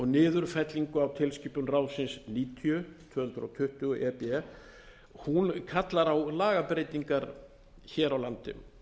niðurfellingu á tilskipun ráðsins níutíu tvö hundruð tuttugu e b hún kallar á lagabreytingar hér á landi